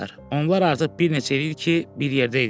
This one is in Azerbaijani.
Onlar artıq bir neçə ildir ki, bir yerdə idilər.